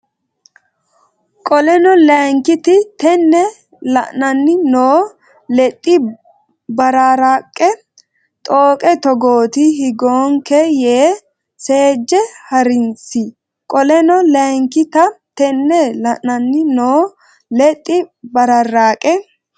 Qoleno Layinkita Tenne la anni noo Lexxi bararraaqe xooqe togooti higgoonke yee seejje ha risi Qoleno Layinkita Tenne la anni noo Lexxi bararraaqe.